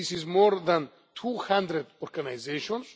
This is more than two hundred organisations.